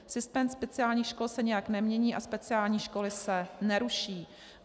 Systém speciálních škol se nijak nemění a speciální školy se neruší.